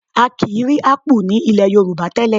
A kì í rí ápù ní ilẹ̀ Yorùbá tẹ́lẹ̀